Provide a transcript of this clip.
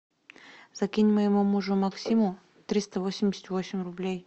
закинь моему мужу максиму триста восемьдесят восемь рублей